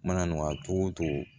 Mana nɔgɔya togo togo